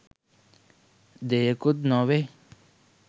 දෙයකුත් නොවෙයි.